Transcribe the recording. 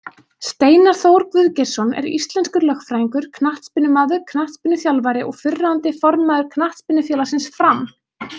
Steinar Þór Guðgeirsson er íslenskur lögfræðingur, knattspyrnumaður, knattspyrnuþjálfari og fyrrverandi formaður Knattspyrnufélagsins Fram.